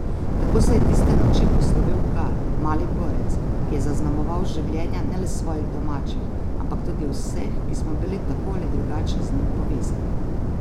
Tako se je tiste noči poslovil Gal, mali borec, ki je zaznamoval življenja ne le svojih domačih, ampak tudi vseh, ki smo bili tako ali drugače z njim povezani.